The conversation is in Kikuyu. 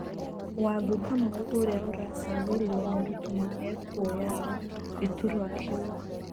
WangũKamau ũrĩa ũracagũrirwo nĩ Ruto nĩ ekuoya gĩturwa kĩu.